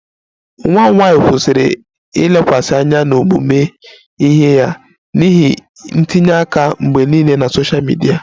Nwa m nwanyị kwụsịrị ilekwasị anya n'ọmụmụ ihe ya n'ihi ntinye aka mgbe niile na sosha midia